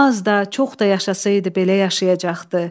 Az da, çox da yaşasaydı belə yaşayacaqdı.